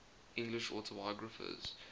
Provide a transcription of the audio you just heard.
english autobiographers